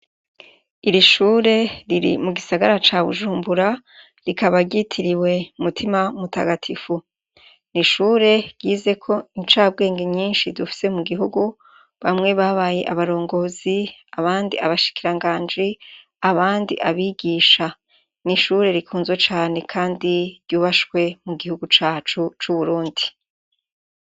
Iri shure riri mu gisagara ca Bujumbura rikaba ryitiriwe Mutima Mutagatifu. N'ishure ryizeko incabwenge nyinshi dufise mu gihugu. Bamwe babaye abarongozi abandi abashikiranganji, abandi abigisha. N'ishure rikunzwe cane kandi ryubashwe mu gihugu cacu c'Uburundi.